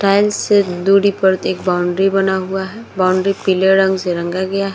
एक बाउंड्री बना हुआ है। बाउंड्री पीले रंग से रंगा गया है।